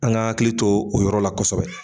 An ka hakili to o yɔrɔ la kosɛbɛ